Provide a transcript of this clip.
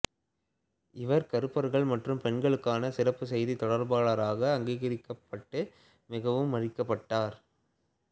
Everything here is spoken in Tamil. இவர் கருப்பர்கள் மற்றும் பெண்களுக்கான சிறப்பு செய்தி தொடர்பாளராக அங்கீகரிக்கப்பட்டு மிகவும் மதிக்கப்பட்டார்